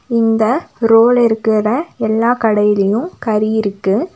இந்த ரோல இருக்குற எல்லா கடையிலயு கறி இருக்கு.